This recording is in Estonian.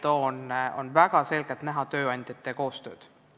Seal on väga selgelt näha koostööd tööandjatega.